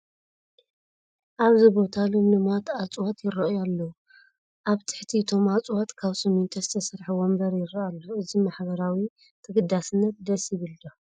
ኣብዚ ቦታ ልምሉማት እፅዋት ይርአዩ ኣለዉ፡፡ ኣብ ትሕቲ እቶም እፅዋት ካብ ስሚንቶ ዝተሰርሐ ወንበር ይርአ ኣሎ፡፡ እዚ ማሕበራዊ ተገዳስነት ደስ ይብል ዶ?